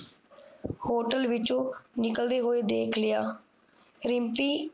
Hotel ਵਿੱਚੋ ਨਿਕਲਦੀ ਹੋਈ ਦੇਖ ਲਿਆ ਰਿਮਪੀ